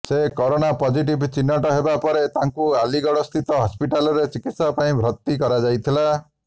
ସେ corona positive ଚିହ୍ନଟ ହେବା ପରେ ତାଙ୍କୁ ଆଲିଗଡସ୍ଥିତ ହସ୍ପିଟାଲରେ ଚିକିତ୍ସା ପାଇଁ ଭର୍ତ୍ତି କରାଯାଇଥିଲା